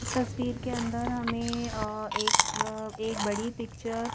इस तस्वीर के अंदर हमें एक एक बड़ी पिक्चर --